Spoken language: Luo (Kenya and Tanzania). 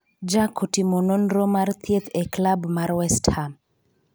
jack otimo nonro mar thieth e klab mar westham